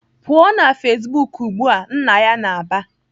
"Pụọ na Facebook ugbu a!" Nna ya na-aba.